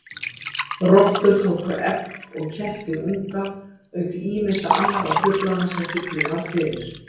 Rottur tóku egg og kettir unga, auk ýmissa annarra truflana sem fuglinn varð fyrir.